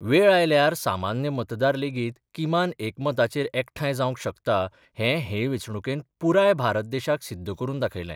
वेळ आयल्यार सामान्य मतदार लेगीत किमान एकमताचेर एकठांय जावंक शकता हें हे वेंचणुकेन पुराय भारत देशाक सिद्ध करून दाखयलें.